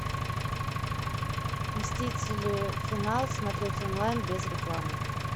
мстители финал смотреть онлайн без рекламы